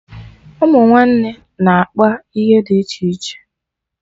Ụmụ nwanne na-akpa ihe dị iche iche